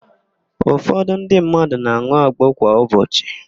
Ụfọdụ ndị mmadụ na-an̄ụ agbo kwa ụbọchị.